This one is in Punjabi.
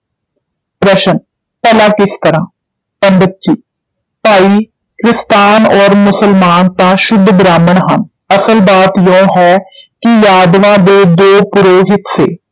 ਪ੍ਰਸ਼ਨ, ਭਲਾ ਕਿਸ ਤਰ੍ਹਾਂ? ਪੰਡਿਤ ਜੀ, ਭਾਈ ਕ੍ਰਿਸਤਾਨ ਔਰ ਮੁਸਲਮਾਨ ਤਾਂ ਸ਼ੁੱਧ ਬ੍ਰਾਹਮਣ ਹਨ, ਅਸਲ ਬਾਤ ਇਉਂ ਹੈ ਕਿ ਯਾਦਵਾਂ ਦੇ ਦੋ ਪੁਰੋਹਿਤ ਸੇ,